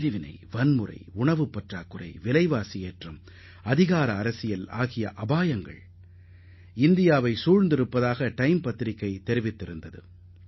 பிரிவினை வன்முறை உணவு பற்றாக்குறை விலைவாசி உயர்வு மற்றும் அதிகார அரசியல் போன்ற பல்வேறு அபாயங்களை இந்தியா எதிர்நோக்கியுள்ளதாக டைம் பத்திரிகை கருத்து தெரிவித்திருந்தது